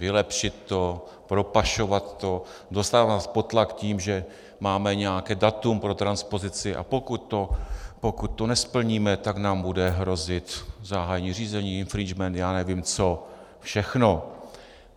Vylepšit to, propašovat to, dostávat nás pod tlak tím, že máme nějaké datum pro transpozici, a pokud to nesplníme, tak nám bude hrozit zahájení řízení, infringement, já nevím co všechno.